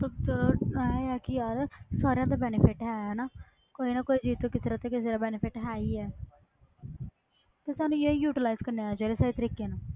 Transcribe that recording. ਸਭ ਤੋਂ ਜ਼ਿਆਦਾ ਇਹ ਹੈ ਕਿ ਯਾਰ ਸਾਰਿਆਂ ਦਾ benefit ਹੈ ਨਾ ਕੋਈ ਨਾ ਕੋਈ ਚੀਜ਼ ਤੋਂ ਕਿਸੇ ਦਾ ਤੇ ਕਿਸੇ ਦਾ benefit ਹੈ ਹੀ ਹੈ ਤੇ ਸਾਨੂੰ ਇਹ utilize ਕਰਨਾ ਆਉਣਾ ਚਾਹੀਦਾ ਸਹੀ ਤਰੀਕੇ ਨਾਲ,